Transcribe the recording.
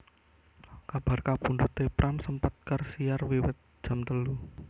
Kabar kapundhuté Pram sempat kersiar wiwit jam telu